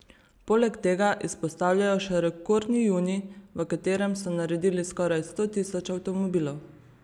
Poleg tega izpostavljajo še rekordni junij, v katerem so naredili skoraj sto tisoč avtomobilov.